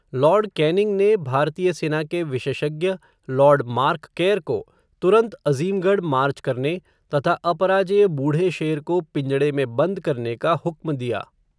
Lord Canning ने, भारतीय सेना के, विशेषज्ञ लॉर्ड मार्क केर को, तुरन्त अज़िमगढ़ मार्च करने, तथा अपराजेय बूढ़े शेर को, पिंजड़े में बन्द करने का हुक्म दिया